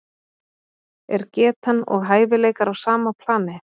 Er getan og hæfileikar á sama plani?